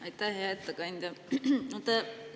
Aitäh, hea ettekandja!